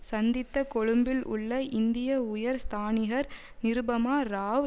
சந்தித்த கொழும்பில் உள்ள இந்திய உயர் ஸ்தானிஹர் நிருபமா ராவ்